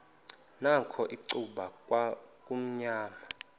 nakho icuba kwakumnyama